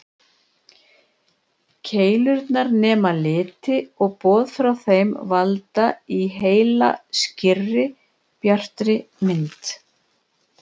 Keilurnar nema liti og boð frá þeim valda í heila skýrri, bjartri mynd.